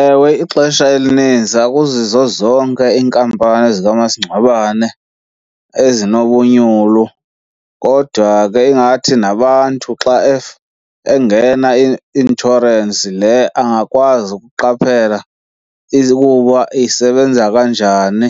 Ewe, ixesha elinintsi akuzizo zonke iinkampani zikamasingcwabane ezinobunyulu. Kodwa ke ingathi nabantu xa engena i-inshorensi le angakwazi ukuqaphela ukuba isebenza kanjani,